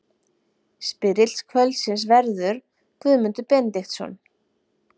Spyrill kvöldsins verður Guðmundur Benediktsson.